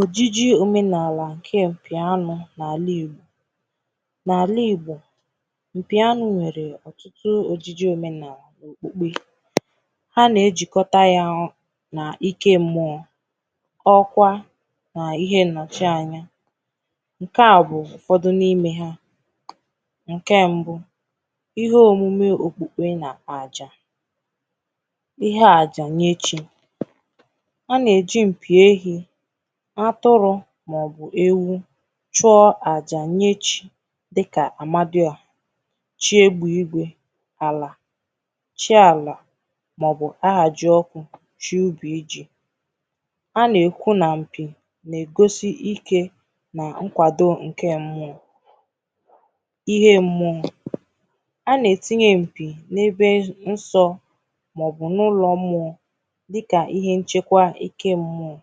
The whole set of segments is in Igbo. Ojiji omenaalà nke m mpì anụ̀ n’alà Igbò n’alà Igbò mpì anụ̀ nwere ọ ihe ojiji omenaalà òkpe ha na-ajikọtà ya ọnụ̀ n’ike mmụọ ọkwa na ihe nnọchị̀ anaya nke à bụ̀ ụfọdụ̀ n’ime ha nke mbụ̀ ihe omume okpuke na àjà ihe àjà nye chi a na-eji mpì ehi atụrụ maọ̀bụ̀ ewu chụọ àjà nye chi dịkà amadịọhà chi egbe ìgwe alà chi alà maọ̀bụ̀ ahaji ọkụ̀ chi ubì ji ha na-ekwu na mpì na-egosi ike na nkwadò nke mmụọ ihe mmụọ̀ a na-etinye mpì n’ebe nsọ̀ maọ̀bụ̀ n’ụlọ̀ mmụọ dịkà ihe nchekwà eke mmụọ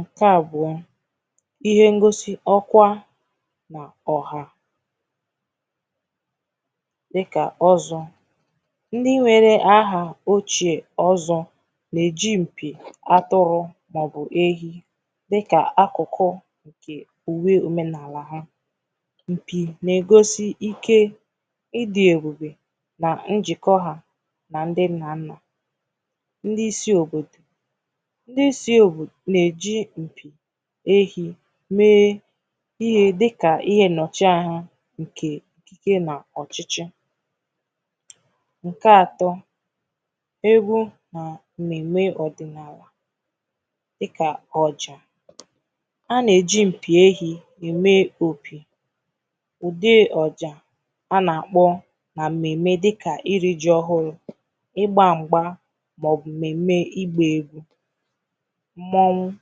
nke abụọ̀ ihe ngosi ọkwa ma ọhà dịkà ọzọ ndị nwere ahà ochè ọzọ na-eji mpì atụrụ maọ̀bụ̀ ehi dịkà akụkụ nke uwe omenaalà ha mpì na-egosi ike ịdị ebubè na njịkọ ha na ndị nna nnà ndị isi òbodò ndị isi egwu na-eji mpì ehi mee ihe dịkà ihe nnọchị aha nke ike na ọchịchị̀ nke atọ egwu na mmeme ọdịnaalà dịkà ojị̀ a na-eji mpì ehi eme opì ude ọjà a na-akpọ na mmeme dịkà iri ji ọhụrụ ịgba m̄gbà maọ̀bụ̀ mmeme ịgba egwu mmọnwụ̀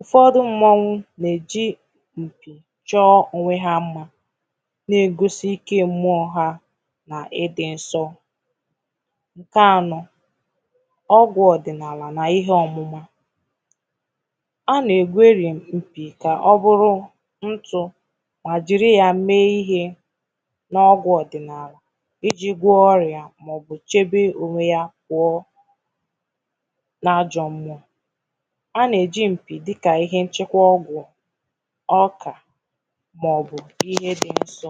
ụfọdụ̀ mmọnwụ̀ na-eji mpì chọ onwe ha mmà na-egosi ike mmụọ̀ ha n’ ịdị nsọ nke anọ ọgwụ̀ ọdịnaalà na ihe ọmụmà a na-egweri mpì ka ọ bụrụ ntụ̀ ma jiri ya mee ihe n’ ọgwụ̀ ọdịnaalà iji gwọ ọyà maọ̀bụ̀ chebe onwe yà kwụọ̀ n’ajọ mmụọ a na-eji mpì dịkàihe nchekwà ọgwụ̀ ọkà maọ̀bụ̀ ihe dị nsọ